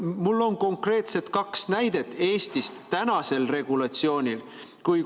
Mul on konkreetsed kaks näidet Eestist tänase regulatsiooni korral.